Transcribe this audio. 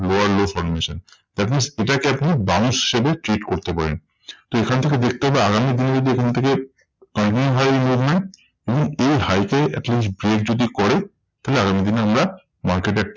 Lower low formation that means এটাকে আপনি bounce হিসেবে treat করতে পারেন। তো এখান থেকে দেখতে হবে আগামী দিনে যদি এখান থেকে high movement এবং এই high কে at least break যদি করে তাহলে আগামী দিনে আমরা market এ